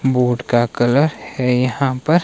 boat का colour है यहां पर--